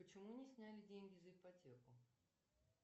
почему не сняли деньги за ипотеку